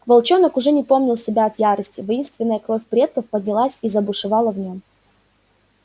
волчонок уже не помнил себя от ярости воинственная кровь предков поднялась и забушевала в нём